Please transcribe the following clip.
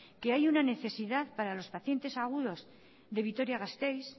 que hay una necesidad para los pacientes crónicos de vitoria gasteiz